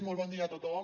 molt bon dia a tothom